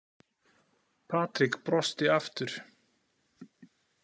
Patrik brosti aftur.